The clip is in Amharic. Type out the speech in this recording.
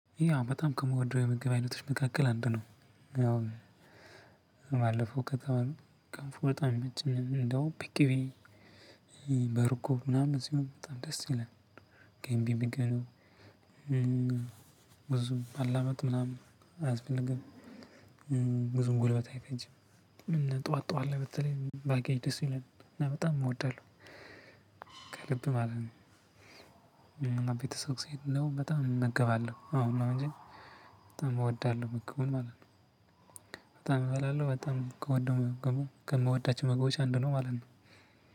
ያው በጣም ከምወደው የምግብ አይነቶች መካከል አንዱ ነው። ያው ባለፈው ከተማ ገንፎ በጣም ይመቸኛል እንደውም በቅቤ በእርጎ ምናምን ሲሆን በጣም ደስ ይላል። ገንቢ ምግብ ነው። ብዙ ማላመጥ ምናምን አያስፈልግም። ብዙም ጉልበት አይፈጅም እና ጠዋት ጠዋለ በተለይ ባገኝ ደስ ይለኛል እና በጣም እወዳለሁ። ከልብ ማለት ነው። ቤተሰብ ሲሄድ ምናምን በጣም እመገባለሁ አሁን ነው እንጂ በጣም እወዳለሁ ምግቡን ማለት ነው። በጣም እበላለሁ በጣም ከወደው ምግቡ ከምወዳቸው ምግቦች አንዱ ነው ማለት ነው።